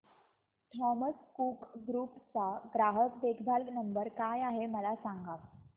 Thomas Cook group चा ग्राहक देखभाल नंबर काय आहे मला सांगा